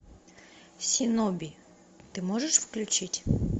синоби ты можешь включить